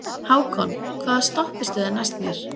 Hákon, hvaða stoppistöð er næst mér?